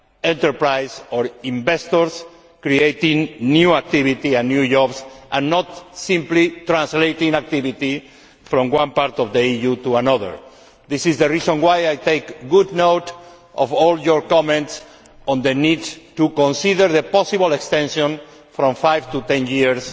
sized enterprises or investors which are creating new activity and new jobs and not simply transposing activity from one part of the EU to another. This is the reason why I take good note of all your comments on the need to consider the possible extension from five to